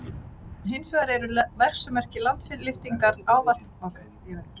Hins vegar eru verksummerki landlyftingar ávallt augljós.